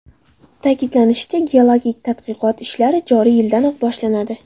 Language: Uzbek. Ta’kidlanishicha, geologik tadqiqot ishlari joriy yildanoq boshlanadi.